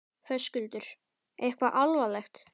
Höskuldur: Eitthvað alvarlegt?